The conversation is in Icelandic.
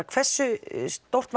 hversu stórt